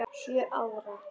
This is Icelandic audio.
Sjö ára?